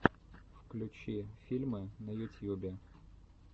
включи фильмы на ютьюбе